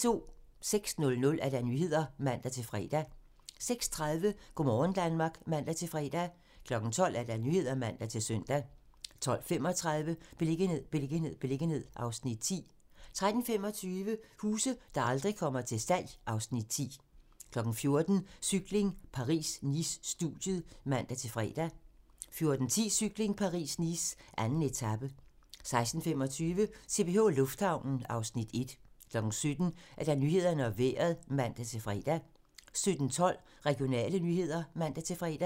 06:00: Nyhederne (man-fre) 06:30: Go' morgen Danmark (man-fre) 12:00: Nyhederne (man-søn) 12:35: Beliggenhed, beliggenhed, beliggenhed (Afs. 10) 13:25: Huse, der aldrig kommer til salg (Afs. 10) 14:00: Cykling: Paris-Nice - studiet (man-fre) 14:10: Cykling: Paris-Nice - 2. etape 16:25: CPH Lufthavnen (Afs. 1) 17:00: Nyhederne og Vejret (man-fre) 17:12: Regionale nyheder (man-fre)